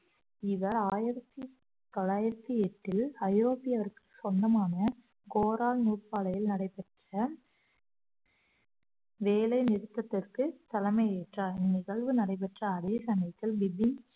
இவர் ஆயிரத்தி தொள்ளாயிரத்தி எட்டில் ஐரோப்பியருக்கு சொந்தமான கோரார் நூற்பாலையில் நடைபெற்ற வேலை நிறுத்தத்திற்கு தலைமை ஏற்றார் நிகழ்வு நடைபெற்ற அதே சமயத்தில் பிபின்